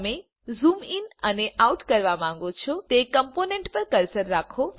તમે zoom in અને out કરવા માંગો છો તે કમ્પોનન્ટ પર કર્સર રાખો